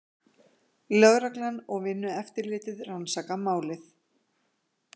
Lögreglan og Vinnueftirlitið rannsaka málið